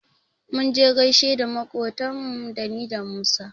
Mun je mu gaishe da maƙotanmu ni da Musa.